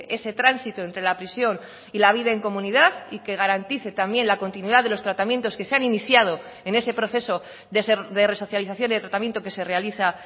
ese tránsito entre la prisión y la vida en comunidad y que garantice también la continuidad de los tratamientos que se han iniciado en ese proceso de resocialización y tratamiento que se realiza